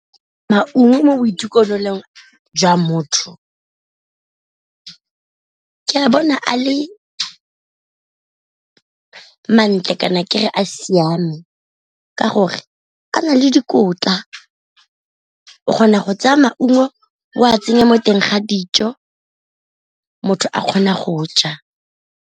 Maungo mo boitekanelong jwa motho ke a bona a le ma ntle kana ke re a siame, ka gore a na le dikotla o kgona go tsaya maungo o a tsenya mo teng ga dijo motho a kgona go ja.